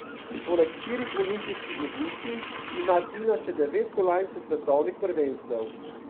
Poleg štirih olimpijskih odličij ima Tina še devet kolajn s svetovnih prvenstev.